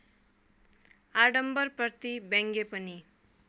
आडम्बरप्रति व्यङ्ग्य पनि